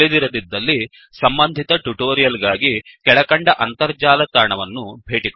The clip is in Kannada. ತಿಳಿದಿರದಿದ್ದಲ್ಲಿ ಸಂಬಂಧಿತ ಟ್ಯುಟೋರಿಯಲ್ ಗಾಗಿ ಕೆಳಕಂಡ ಅಂತರ್ಜಾಲ ತಾಣವನ್ನು ಭೇಟಿಕೊಡಿ